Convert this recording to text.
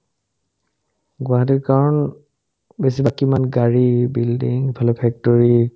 গুৱাহাটীত কাৰণ বেছিভাগ কিমান গাড়ী, building, ইফালে factory